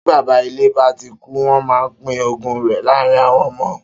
Tí baba ilé ba tí kú, wön má pin ògún ré láàrin awön ömö.